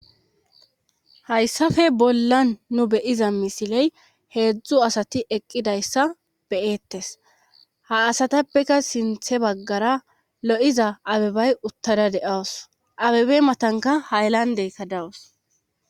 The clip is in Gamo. hayssafe bollan nu beyiza misiley heedzdzu asati eqqidayssa be'ettes ha asatappeka sinthe baggara lo7iza abebay uttada de7awus abebe matanka haylandeka dawus